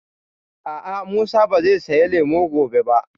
A'a, Musa ba zai saya lemu gobe ba